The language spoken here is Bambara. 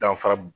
Danfara b